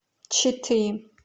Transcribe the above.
читы